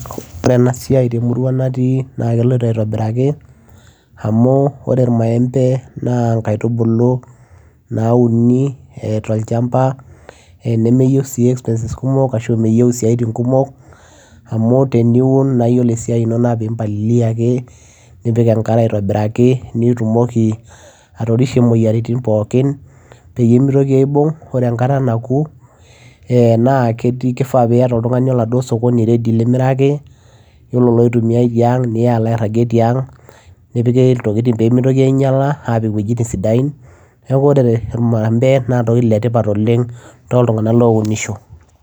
ore ena siai temurua natii naa keloito aitobiraki amu ore irmaembe naa inkaitubulu nauni eh tolchamba eh nemeyieu sii expenses kumok ashu meyieu isiatin kumok amu teniun naa yiolo esiai ino naa pimpalilia ake nipik enkare aitobiraki nitumoki atorishe imoyiaritin pookin peyie mitoki aibung ore enkata naku eh naa ketii kifaa piyata oltung'ani oladuo sokoni ready limiraki yiolo iloitumiae tiang nilo alo airragie tiang nepiki iltokiting pemitoki ainyiala apik iwuejitin sidain neeku ore irmaembe naa iltokiting letipat oleng toltung'anak lounisho.